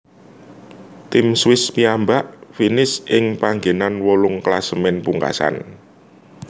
Tim Swiss piyambak finish ing panggenan wolung klasemen pungkasan